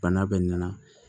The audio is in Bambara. Bana bɛ nana